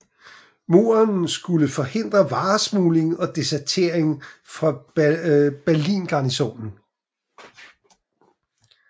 Muren skulle forhindre varesmugling og desertering fra Berlingarnisonen